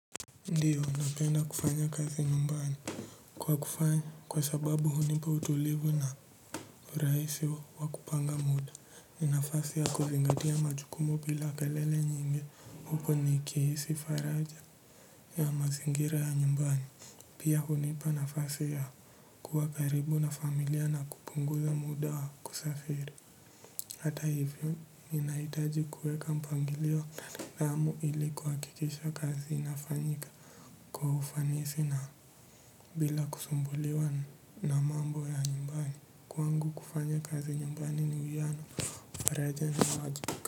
Ndiyo, napenda kufanya kazi nyumbani. Kwa kufanya, kwa sababu hunipa utulivu na uraisi wa wa kupanga muda, ni nafasi ya kuzingatia majukumu bila kelele nyingi. Huko ni kihisi faraja ya mazingira ya nyumbani. Pia hunipa nafasi ya kuwa karibu na familia na kupunguza muda waa kusafiri. Hata hivyo, mi nahitaji kueka mpangilio na nidamu ili kwakikisha kazi inafanyika. Kwa ufanisi na bila kusumbuliwa na mambo ya nyumbani. Kwangu kufanya kazi nyumbani ni uwiano, faraja.